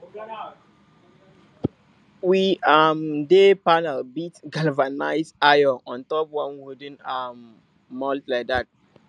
we um dey panel beat galvanized iron on top one wooden um mould like dat